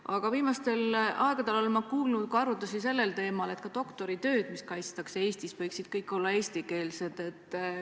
Aga viimastel aegadel olen ma kuulnud arutlusi isegi sellel teemal, et doktoritööd, mis kaitstakse Eestis, võiksid olla eestikeelsed.